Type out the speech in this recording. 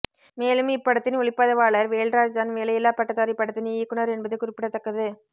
மேலும் இப்படத்தின் ஒளிப்பதிவாளர் வேல்ராஜ் தான் வேலையில்லா பட்டதாரி படத்தின் இயக்குனர் என்பது குறிப்பிடத்தக்கது